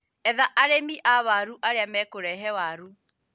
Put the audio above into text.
Etha arĩmi a waru arĩa mekũrehe waru